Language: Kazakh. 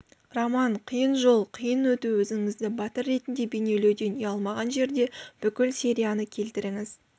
роман қиын жол қиын өту өзіңізді батыр ретінде бейнелеуден ұялмаған жерде бүкіл серияны келтіріңіз